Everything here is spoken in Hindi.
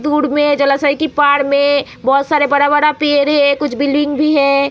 दूर में जलाशय के पार में बहुत सारे बड़ा-बड़ा पेड़ है कुछ बिल्डिंग भी है।